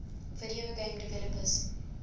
video game developers